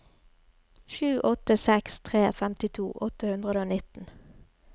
sju åtte seks tre femtito åtte hundre og nitten